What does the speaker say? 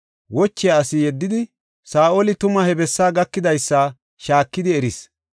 wochiya asi yeddidi, Saa7oli tuma he bessaa gakidaysa shaakidi eris.